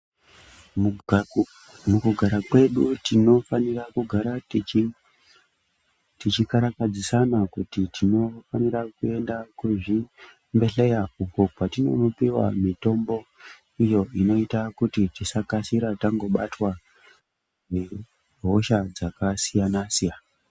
Mukugara kwedu tinofanira kugara techi techikarakadzisana kuti timofanira kuenda kuzvimbehleya uko kwatinonopiwa mitombo iyo inoita kuti tisakasira tangobatwa nehosha dzakasiyana-siyana.